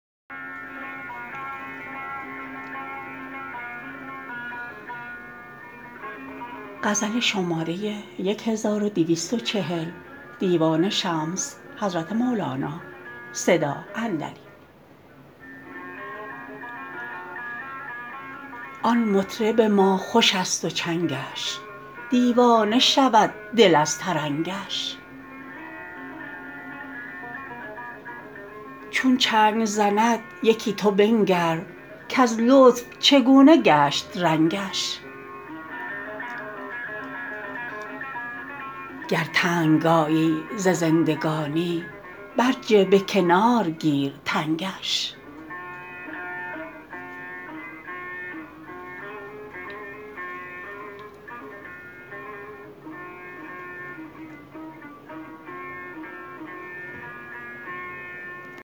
آن مطرب ما خوشست و چنگش دیوانه شود دل از ترنگش چون چنگ زند یکی تو بنگر کز لطف چگونه گشت رنگش گر تنگ آیی ز زندگانی برجه به کنار گیر تنگش